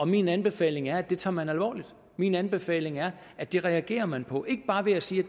min anbefaling er at det tager man alvorligt min anbefaling er at det reagerer man på ikke bare ved at sige